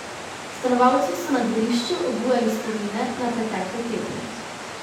Stanovalci so na dvorišču obujali spomine na pretekle tedne.